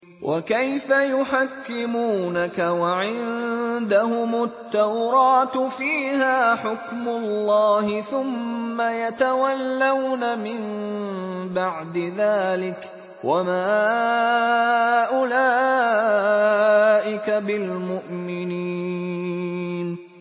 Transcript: وَكَيْفَ يُحَكِّمُونَكَ وَعِندَهُمُ التَّوْرَاةُ فِيهَا حُكْمُ اللَّهِ ثُمَّ يَتَوَلَّوْنَ مِن بَعْدِ ذَٰلِكَ ۚ وَمَا أُولَٰئِكَ بِالْمُؤْمِنِينَ